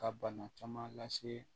Ka bana caman lase